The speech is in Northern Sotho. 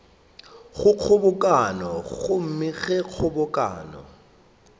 go kgobokano gomme ge kgobokano